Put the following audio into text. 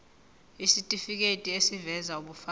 isitifiketi eziveza ubufakazi